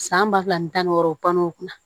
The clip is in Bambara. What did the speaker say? San ba fila ni tan ni wɔɔrɔ o banna o kunna